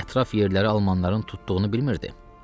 Axı ətraf yerləri almanların tutduğunu bilmirdi?